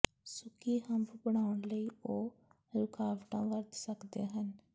ਸੁੱਕੀ ਹੰਪ ਬਣਾਉਣ ਲਈ ਉਹ ਰੁਕਾਵਟਾਂ ਵਰਤ ਸਕਦੇ ਹਨ